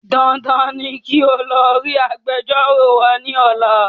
Dandan ni kí o lọ rí Agbẹjọ́rò wa ní ọ̀la